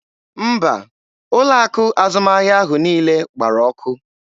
Mba, ụlọ akụ azụmahịa ahụ niile gbara ọkụ.